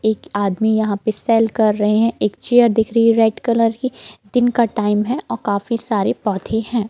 एक आदमी यँहा पे सेल कर रहे है एक चेयर दिख रही है रेड कलर की दिन का टाइम है और काफी सारे पौधें है।